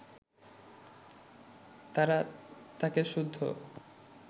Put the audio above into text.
তারা তাঁকে সুদ্ধ